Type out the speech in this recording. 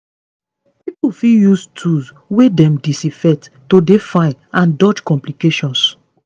pipo fit use tools wey dem disinfect to dey fine and dodge complications